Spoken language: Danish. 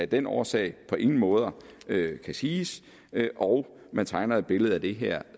den årsag på ingen måder kan siges og man tegner et billede af det her